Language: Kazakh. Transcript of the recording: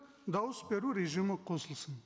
дауыс беру режимі қосылсын